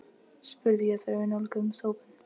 spurði ég þegar við nálguðumst hópinn.